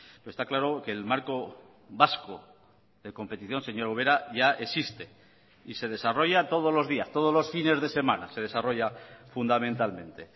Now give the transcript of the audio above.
pero está claro que el marco vasco de competición señora ubera ya existe y se desarrolla todos los días todos los fines de semana se desarrolla fundamentalmente